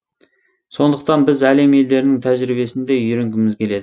сондықтан біз әлем елдерінің тәжірибесін де үйренгіміз келеді